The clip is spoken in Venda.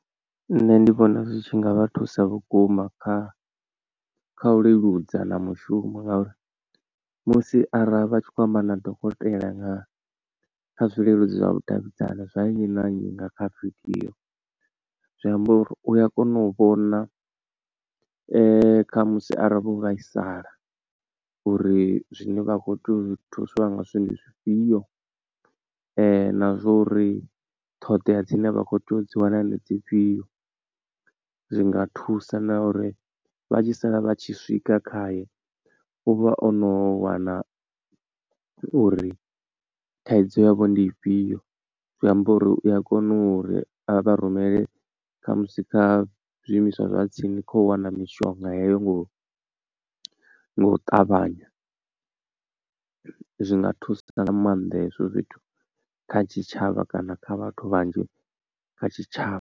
Nṋe ndi vhona zwi tshi nga vha thusa vhukuma kha u leludza na mushumo ngauri musi arali vha tshi khou amba na dokotela nga kha zwileludzi zwa vhudavhidzani zwa nnyi na nnyi nga kha video. Zwi amba uri u a kona u vhona kha musi arali vho vhaisala uri zwine vha kho tea u thuswa ngazwo ndi zwifhio na zwa uri ṱhoḓea dzine vha kho tea u dzi wana ndi dzifhio. Zwinga thusa na uri vha tshi sala vha tshi swika khaye uvha o no wana uri thaidzo yavho ndi ifhio zwi amba uri u a kona uri a vha rumele khamusi kha zwiimiswa zwa tsini kho wana mishonga heyo nga u nga u ṱavhanya zwi nga thusa nga maanḓa hezwo zwithu kha tshitshavha kana kha vhathu vhanzhi kha tshitshavha.